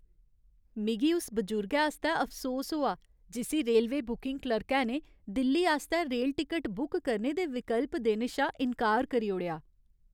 मिगी उस बजुर्गै आस्तै अफसोस होआ जिस्सी रेलवे बुकिंग क्लर्कै ने दिल्ली आस्तै रेल टिकट बुक करने दे विकल्प देने शा इन्कार करी ओड़ेआ।